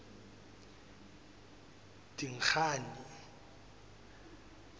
dingane